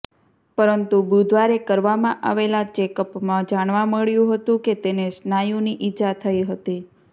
પરંતુ બુધવારે કરવામાં આવેલા ચેકઅપમાં જાણવા મળ્યું હતું કે તેને સ્નાયુની ઈજા થઈ હતી